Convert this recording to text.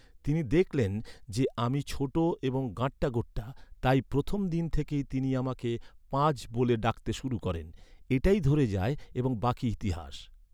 তিনি দেখলেন যে, আমি ছোট এবং গাঁট্টাগোট্টা, তাই প্রথম দিন থেকেই তিনি আমাকে 'পাজ’ ব’লে ডাকতে শুরু করেন। এটাই ধরে যায়, এবং বাকি ইতিহাস।